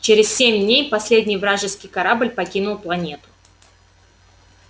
через семь дней последний вражеский корабль покинул планету